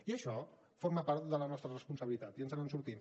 i això forma part de la nostra responsabilitat i ens en sortim